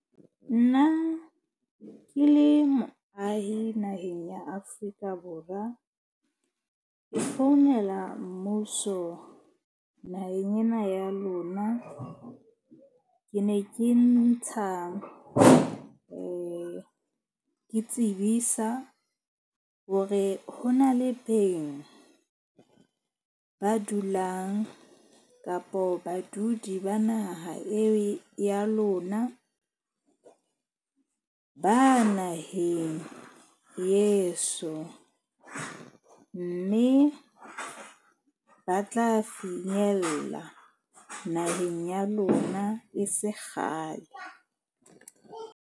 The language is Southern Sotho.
Nna ke le moahi naheng ya Afrika Borwa. Ke founela mmuso naheng ena ya lona. Ke ne ke ntsha ke tsebisa hore ho na le beng ba dulang kapo badudi ba naha, e ya lona ba naheng yeso. Mme ba tla finyella naheng ya lona e se kgale.